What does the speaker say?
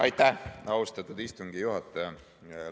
Aitäh, austatud istungi juhataja!